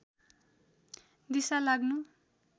दिसा लाग्नु